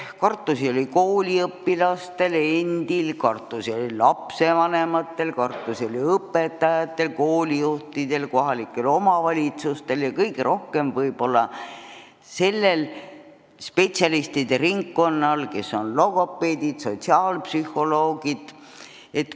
Kartusi oli kooliõpilastel endil, kartusi oli lapsevanematel, kartusi oli õpetajatel, koolijuhtidel, kohalikel omavalitsustel ja kõige rohkem võib-olla sellel spetsialistide ringkonnal, kuhu kuuluvad logopeedid ja sotsiaalpsühholoogid.